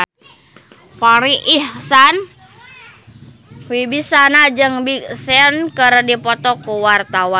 Farri Icksan Wibisana jeung Big Sean keur dipoto ku wartawan